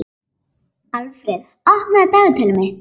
Alfreð, opnaðu dagatalið mitt.